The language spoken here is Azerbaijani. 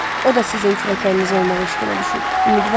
O da sizin kürəkəniniz olmağa eşqinə düşüb.